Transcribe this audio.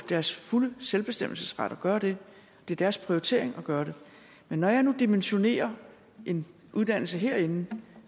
deres fulde selvbestemmelsesret at gøre det det er deres prioritering at gøre det men når jeg nu dimensionerer en uddannelse herinde